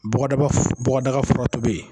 Bɔgɔdaga fura tobi